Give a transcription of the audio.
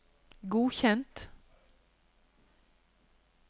godkjent